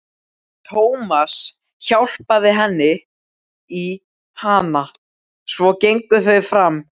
Tómas hjálpaði henni í hana, svo gengu þau fram.